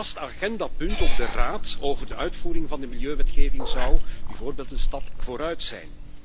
Een vast agendapunt op de Raad over de uitvoering van de milieuwetgeving zou bijvoorbeeld een stap vooruit zijn.